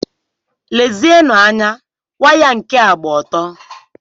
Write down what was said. Lezienụ anya, waya nka gba ọtọ!